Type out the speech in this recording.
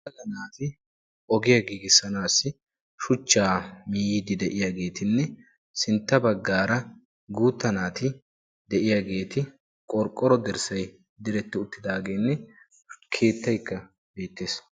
naati ogiyaa giigisanassi shuchaa ehidi de"iyagetine sintta bagara guuta naati de"iyagetti qorqoro dirssay diretidi utidagene keetaykka beettessi.